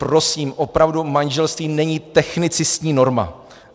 Prosím, opravdu manželství není technicistní norma.